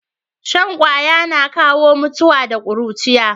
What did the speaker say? Shan ƙaya na kawo mutuwa da kuruciya